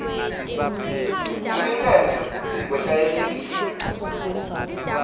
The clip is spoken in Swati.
kulingene futsi kwetayelekile